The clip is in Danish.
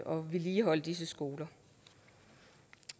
vedligeholde disse skoler